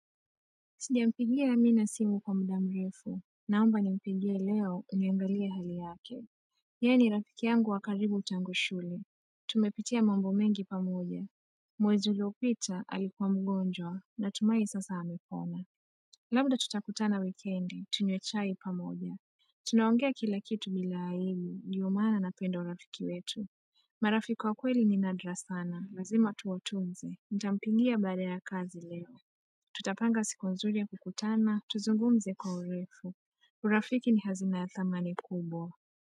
Sijampigia Amina simu kwa mda mrefu, naomba nimpigie leo niangalie hali yake. Yeye ni rafiki yangu wa karibu tangu shule. Tumepitia mambo mengi pamoja. Mwezi uliopita alikuwa mgonjwa, natumahi sasa amepona. Labda tutakutana wikendi, tunywe chai pamoja. Tunaongea kila kitu bila aibu, ndio maana napenda urafiki wetu. Marafiki wa kweli ni nadra sana, lazima tuwatunze. Nitampigia baada ya kazi leo. Tutapanga siku nzuri ya kukutana, tuzungumze kwa urefu. Urafiki ni hazina ya thamani kubwa.